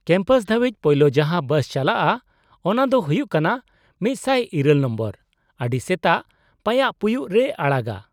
-Campus ᱫᱷᱟᱹᱵᱤᱡ ᱯᱳᱭᱞᱳ ᱡᱟᱦᱟᱸ ᱵᱟᱥᱪᱟᱞᱟᱜᱼᱟ ᱚᱱᱟ ᱫᱚ ᱦᱩᱭᱩᱜ ᱠᱟᱱᱟ ᱑᱐᱘ ᱱᱚᱢᱵᱚᱨ, ᱟᱹᱰᱤ ᱥᱮᱛᱟᱜ ᱯᱟᱭᱟᱜ ᱯᱩᱭᱩᱜ ᱨᱮᱭ ᱟᱲᱟᱜᱟ ᱾